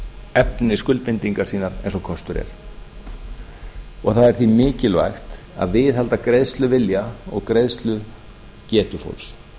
efni skuldbindingar sínar eins og kostur er það er því mikilvægt að viðhalda greiðsluvilja og greiðslugetu fólks